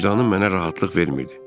Vicdanım mənə rahatlıq vermirdi.